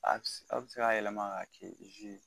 Aw bɛ se k'a yɛlɛma ka kɛ